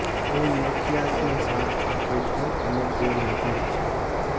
હું મૈથિયાસને સાથ આપું છું અને તે નજીક છે